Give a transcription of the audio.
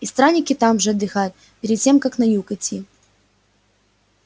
и странники там же отдыхают перед тем как на юг идти